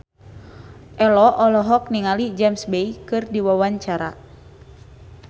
Ello olohok ningali James Bay keur diwawancara